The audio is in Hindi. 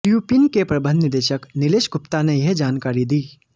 ल्यूपिन के प्रबंध निदेशक नीलेश गुप्ता ने यह जानकारी दी